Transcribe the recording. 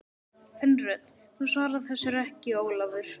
Kvenrödd: Þú svarar þessu ekki Ólafur!